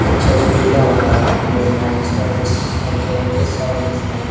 अच्छा सुविधा बना रही है लाइट्स वाइट्स पंखे पंखे सब है इसमें।